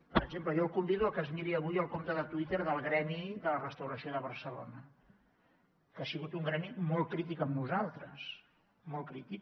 per exemple jo el convido a que es miri avui el compte de twitter del gremi de restauració de barcelona que ha sigut un gremi molt crític amb nosaltres molt crític